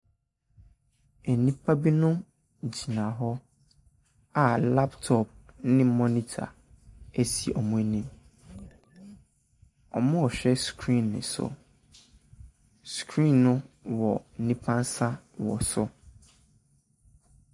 Nnipa binom gyina hɔ a laptop ne monitor si wɔn anim. Wɔrehwɛ screen no so. Screen no wɔ nipa nsa wɔ so.